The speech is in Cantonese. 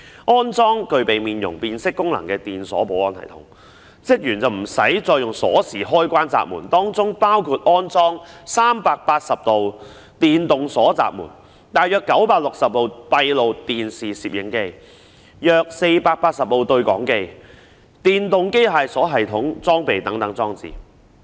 在安裝具備面容辨識功能的電鎖保安系統後，職員便無須再以鎖匙開關閘門，當中包括安裝380道電動鎖閘門、約960部閉路電視攝影機、約480部對講機和電動機械鎖系統裝備等裝置。